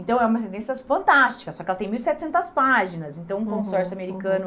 Então é uma sentença assim fantástica, só que ela tem mil e setecentas páginas, então o consórcio americano